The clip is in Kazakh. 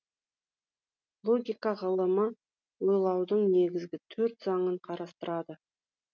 логика ғылымы ойлаудың негізгі төрт заңын қарастырады